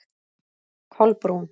Kolbrún